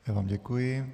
Já vám děkuji.